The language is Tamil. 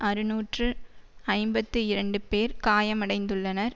அறுநூற்று ஐம்பத்தி இரண்டு பேர் காயமடைந்துள்ளனர்